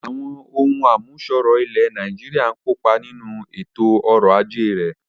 Àwọn ohùn àmúṣọrọ̀ ilẹ̀ Nàìjíríà ń kópa nínú ètò ọrọ̀ ajé rẹ̀